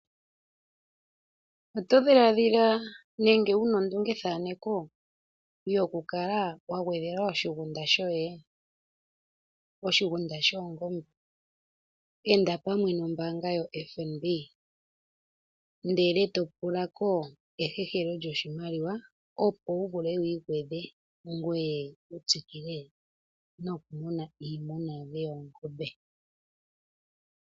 Oto dhiladhila nenge wu na ondungethaneko okukala wa gwedhela oshigunda shoye? Oshigunda shoongombe? Inda pombaanga yoFNB e to hehela ko oshimaliwa, opo wu vule wi igwedhe ngoye wu tsikile nokumuna iimuna yoye yoongombe.